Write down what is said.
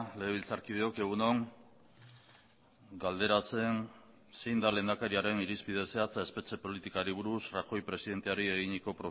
legebiltzarkideok egun on galdera zen zein da lehendakariaren irizpide zehatza espetxe politikari buruz rajoy presidenteari eginiko